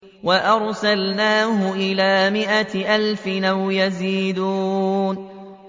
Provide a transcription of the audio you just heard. وَأَرْسَلْنَاهُ إِلَىٰ مِائَةِ أَلْفٍ أَوْ يَزِيدُونَ